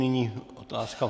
Nyní otázka.